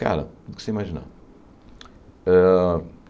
Cara, do que você imaginar. Hã